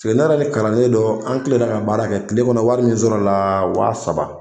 Cɛ ne ni kalanden dɔ, an tilenna ka baara kɛ tile kɔnɔ wari min sɔrɔ la waa saba.